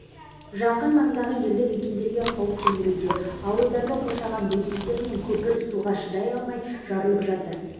жақын маңдағы елді мекендерге қауіп төндіруде ауылдарды қоршаған бөгеттер нөпір суға шыдай алмай жарылып жатыр